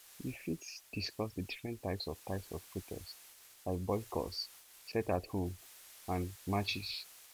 you fit discuss di different types of types of protest like boycotts sitathome and marches